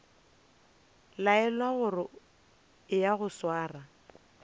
laelwa gore eya o sware